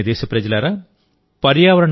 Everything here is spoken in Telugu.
నా ప్రియమైన దేశప్రజలారా